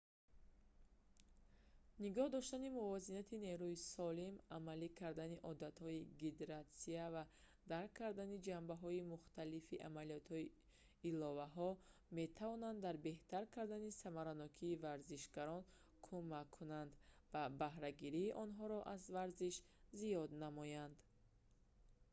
нигоҳ доштани мувозинати нерӯи солим амалӣ кардани одатҳои гидратсия ва дарк кардани ҷанбаҳои мухталифи амалияҳои иловаҳо иловаҳои хӯрокворӣ метавонанд дар беҳтар кардани самаранокии варзишгарон кумак кунанд ва баҳрагирии онҳоро аз варзиш зиёд намоядн